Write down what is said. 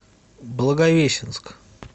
благовещенск